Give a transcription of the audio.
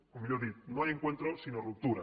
o millor dit no hay encuentro sino ruptura